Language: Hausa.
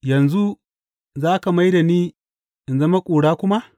Yanzu za ka mai da ni in zama ƙura kuma?